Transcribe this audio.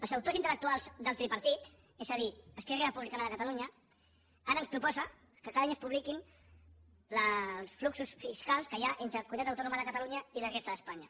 els autors intel·lectuals del tripartit és a dir esquerra republicana de catalunya ara ens proposen que cada any es publiquin els fluxos fiscals que hi ha entre la comunitat autònoma de catalunya i la resta d’espanya